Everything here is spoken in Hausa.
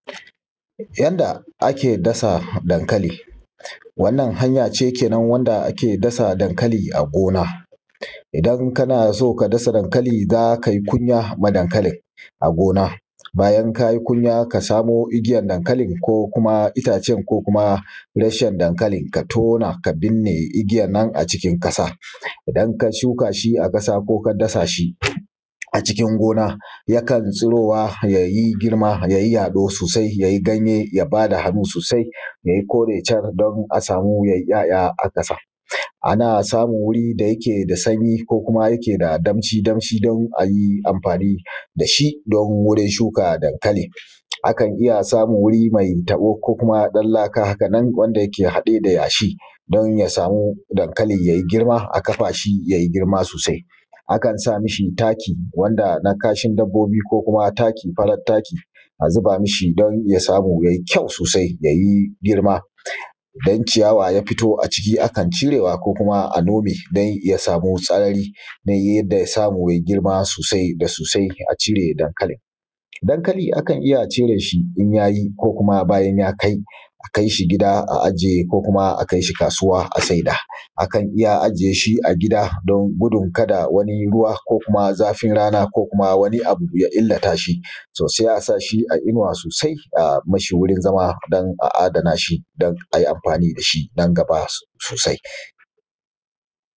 Yanda ake dasa daŋkali wannan hanya ce wanda ake dasa daŋkali a gona idan kana son ka dasa daŋkali, za kai kunya wa daŋkalin bayan ka yi kunya, ka samu igiyaŋ daŋkali, ko kuma itacen ko kuma reshen daŋkali ka tona ka binne igiya'nnan a cikin ƙasa idan ka shuka shi a ƙasa, ko ka dasa shi a cikin gona, yakan tsuruwa ya yi girma, ya yi yaɗo sosai, ya basa hannu sosai, ya yi kore shar, a samu ya yi ‘ya’ya a ƙasa. Ana samun wuri me sanyi ko kuma me damshi, don a yi anfani da shi don wurin shuka daŋkali, akan iya samun wuri me taɓo, ko kuma ɗan laka ƙaɗan dake haɗe da yashi, don ya sa daŋkali ya yi girma aka'fa shi za a basa taki, ban da na kashin dabbobi, ko kuma farar taki, a zuba ma shi don ya sa mai ƙyau da ya yi girma. Idan ciyawa ta fito, a cire ta ko a nome don ya sa mai sarari, ta yanda za yi girma sosai a cire daŋkalin, daŋkali akan iya ciro shi in ya yi ko kuma bayan ya kai.